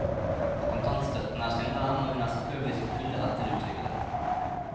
Kontantstøtten er synderen, og hun er selvfølgelig i sin fulle rett til å uttrykke dette.